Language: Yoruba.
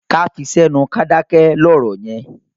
Ká fi sẹ́nu ká dákẹ́ lọ̀rọ̀ yẹn.